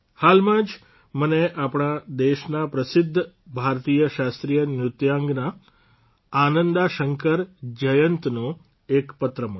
હાલમાં જ મને આપણા દેશના પ્રસિદ્ધ ભારતીય શાસ્ત્રીય નૃત્યાંગના આનંદા શંકર જયંતનો એક પત્ર મળ્યો